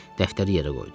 Dəftəri yerə qoydu.